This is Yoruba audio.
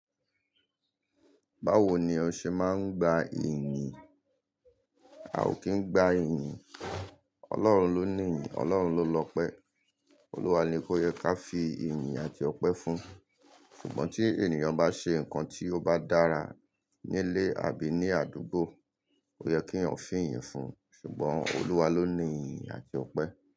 Báwo ni o ṣe máa ń gba ìyìn? A ò kí ń gba ìyìn. Ọlọ́run ló ní ìyìn, Ọlọ́run ló lọpẹ́. Olúwa ni kó yẹ ká fi ìyìn àti ọpẹ́ fún. Ṣùgbọ́n tí ènìyàn bá ṣe nǹkan tí ó bá dára nílé àbí ní àdúgbò, ó yẹ keeyan wọn fì'yìn fún. Ṣùgbọ́n Olúwa ló ní ìyìn àti ọpẹ́